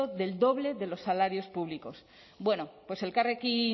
del doble de los salarios públicos bueno pues elkarrekin